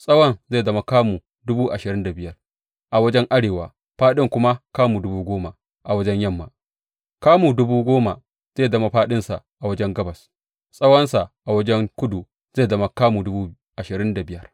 Tsawon zai zama kamu dubu ashirin da biyar a wajen arewa, fāɗin kuma kamu dubu goma wajen yamma, kamu dubu goma zai zama fāɗinsa a wajen gabas, tsawonsa a wajen kudu zai zama kamu dubu ashirin da biyar.